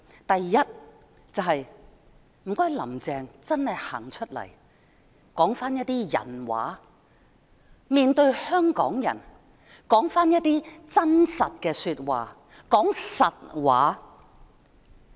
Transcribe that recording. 第一，請"林鄭"真的走出來說一些"人話"，面對香港人說一些真實的說話，說實話。